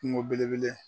Kungo belebele